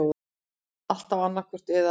Alltaf annaðhvort eða.